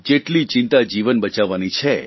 જેટલી ચિંતા જીવન બચાવવાની છે